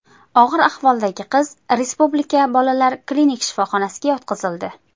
Og‘ir ahvoldagi qiz respublika bolalar klinik shifoxonasiga yotqizildi.